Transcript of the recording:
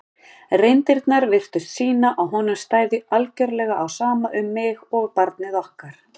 reyndirnar virtust sýna að honum stæði algjörlega á sama um mig og barnið okkar.